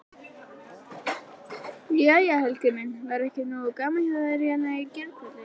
Jæja Helgi minn, var ekki nógu gaman hérna í gærkvöldi?